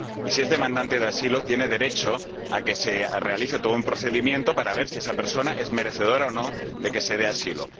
Y si es demandante de asilo, tiene derecho a que se realice todo un procedimiento para ver si esa persona es merecedora o no de que se le dé asilo.